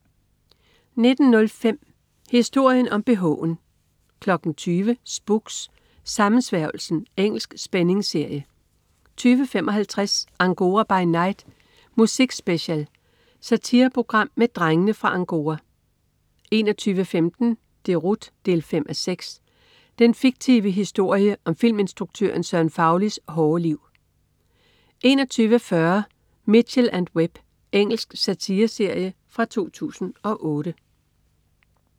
19.05 Historien om bh'en 20.00 Spooks: Sammensværgelsen. Engelsk spændingsserie 20.55 Angora by night Musik Special. Satireprogram med "Drengene fra Angora" 21.15 Deroute 5:6. Den fiktive historie om filminstruktøren Søren Faulis hårde liv 21.40 Mitchell & Webb. Engelsk satireserie fra 2008